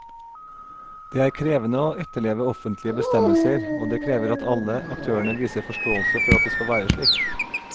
Det er krevende å etterleve offentlige bestemmelser, og det krever at alle aktørene viser forståelse for at det skal være slik.